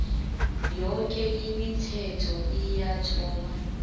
yoke imithetho eyathoma